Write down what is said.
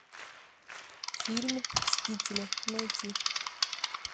фильм мстители найти